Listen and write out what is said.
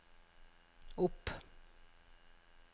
opp